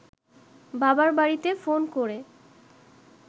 বাবার বাড়িতে ফোন করে